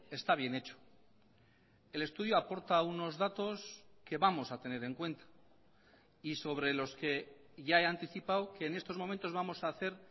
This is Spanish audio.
está bien hecho el estudio aporta unos datos que vamos a tener en cuenta y sobre los que ya he anticipado que en estos momentos vamos a hacer